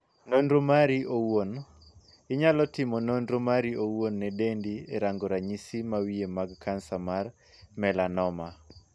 Nonro mari owuon. Inyalo timo nonro mari owuon ne dendi e rango ranyisi mawiye mag kansa mar 'melanoma'.